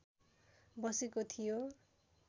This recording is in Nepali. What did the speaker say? बसेको थियो